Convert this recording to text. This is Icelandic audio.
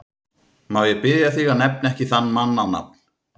Má ég biðja þig að nefna ekki þann mann á nafn!